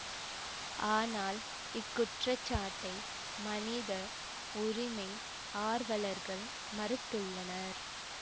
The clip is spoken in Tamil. ஆனால் இக்குற்றச்சாட்டை மனித உரிமை ஆர்வலர்கள் மறுத்துள்ளனர்